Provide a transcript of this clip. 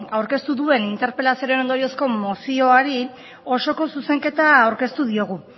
aurkeztu duen interpelazioaren ondoriozko mozioari osoko zuzenketa aurkeztu diogu